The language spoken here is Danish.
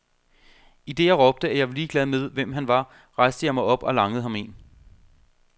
Idet jeg råbte, at jeg var ligeglad med, hvem han var, rejste jeg mig op og langede ham én.